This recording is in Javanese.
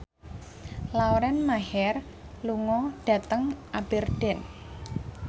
Lauren Maher lunga dhateng Aberdeen